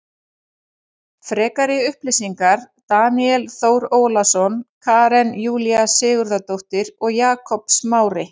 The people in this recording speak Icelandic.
Frekari upplýsingar Daníel Þór Ólason Karen Júlía Sigurðardóttir og Jakob Smári.